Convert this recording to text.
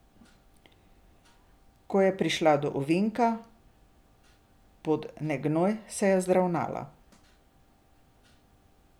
Ko pa je prišla do ovinka, pod negnoj, se je vzravnala.